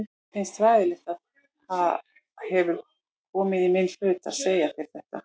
Mér finnst hræðilegt að það hefur komið í minn hlut að segja þér þetta.